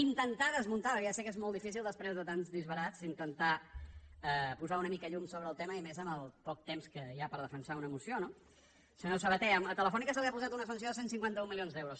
intentar desmuntar perquè ja sé que és molt difícil després de tants disbarats intentar posar una mica de llum sobre el tema i més amb el poc temps que hi ha per defensar una moció no senyor sabaté a telefónica se li ha posat una sanció de cent i cinquanta un milions d’euros